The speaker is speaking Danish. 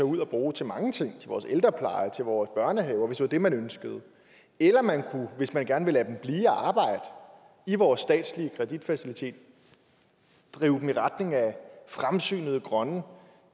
ud og bruge til mange ting til vores ældrepleje til vores børnehaver hvis det var det man ønskede eller man kunne hvis man gerne vil lade dem blive og arbejde i vores statslige kreditfacilitet drive dem i retning af fremsynede grønne